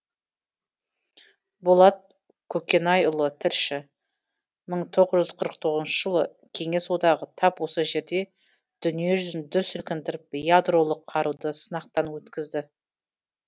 болат көкенайұлы тілші мың тоғыз жүз қырық тоғызыншы жылы кеңес одағы тап осы жерде дүние жүзін дүр сілкіндіріп ядролық қаруды сынақтан өткізді